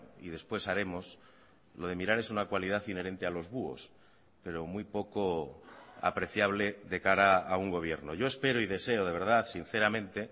y después haremos lo de mirar es una cualidad inherente a los búhos pero muy poco apreciable de cara a un gobierno yo espero y deseo de verdad sinceramente